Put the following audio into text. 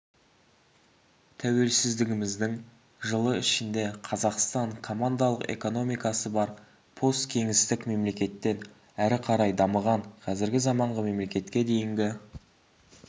тәуелсіздігіміздің жылы ішінде қазақстан командалық экономикасы бар посткеңестік мемлекеттен әрі қарай дамыған қазіргі заманғы мемлекетке дейінгі